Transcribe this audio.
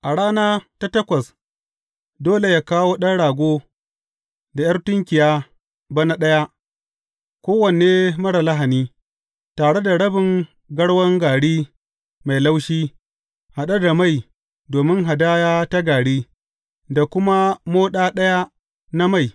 A rana ta takwas dole yă kawo ɗan rago da ’yar tunkiya bana ɗaya, kowane marar lahani, tare da rabin garwan gari mai laushi haɗe da mai domin hadaya ta gari, da kuma moɗa ɗaya na mai.